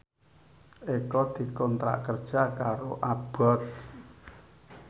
Eko dikontrak kerja karo Abboth